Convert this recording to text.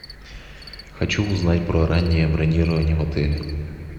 хочу узнать про раннее бронирование в отеле